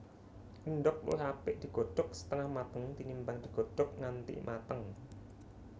Endhog luwih apik digodhog setengah mateng tinimbang digodhog nganti mateng